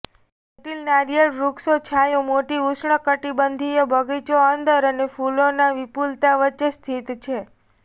જટિલ નારિયેળ વૃક્ષો છાંયો મોટી ઉષ્ણકટિબંધીય બગીચો અંદર અને ફૂલોના વિપુલતા વચ્ચે સ્થિત છે